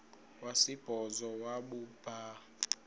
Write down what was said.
wesibhozo wabhu bha